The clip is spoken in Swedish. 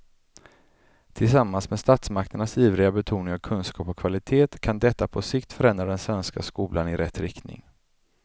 Tillsammans med statsmakternas ivriga betoning av kunskap och kvalitet kan detta på sikt förändra den svenska skolan i rätt riktning.